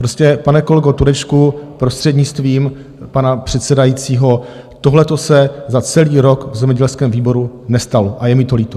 Prostě, pane kolego Turečku, prostřednictvím pana předsedajícího, tohleto se za celý rok v zemědělském výboru nestalo a je mi to líto.